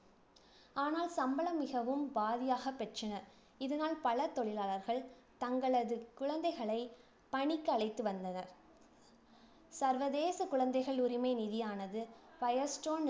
ஆனால் சம்பளம் மிகவும் பாதியாகப் பெற்றனர். இதனால் பலர் தொழிலாளர்கள் தங்களது குழந்தைகளை பணிக்கு அழைத்து வந்தனர். சர்வதேச குழந்தைகள் உரிமை நிதியானது firestone